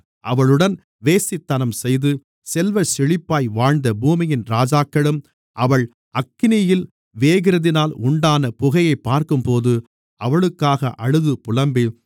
அவளுடன் வேசித்தனம்செய்து செல்வச்செழிப்பாய் வாழ்ந்த பூமியின் ராஜாக்களும் அவள் அக்கினியில் வேகிறதினால் உண்டான புகையைப் பார்க்கும்போது அவளுக்காக அழுது புலம்பி